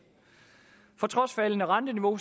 trods faldende renteniveau